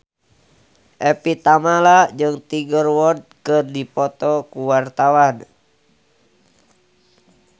Evie Tamala jeung Tiger Wood keur dipoto ku wartawan